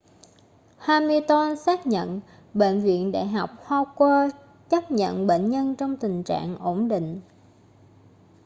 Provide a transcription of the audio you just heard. hamilton xác nhận bệnh viện đại học howard chấp nhận bệnh nhân trong tình trạng ổn định